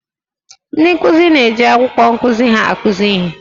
Ndị nkuzi na-eji akwụkwọ nkuzi ha akụzi ihe